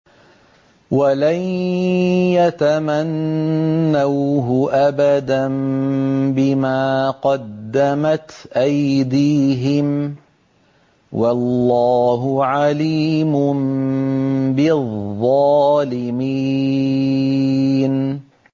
وَلَن يَتَمَنَّوْهُ أَبَدًا بِمَا قَدَّمَتْ أَيْدِيهِمْ ۗ وَاللَّهُ عَلِيمٌ بِالظَّالِمِينَ